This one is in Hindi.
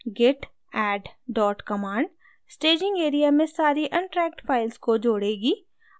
git add dot command staging area में सारी untracked files को जोड़ेगी